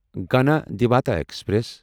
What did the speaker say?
Ganadevta express